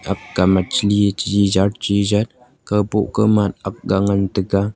aakga machli chigi jat chile jat aakga ngan tega.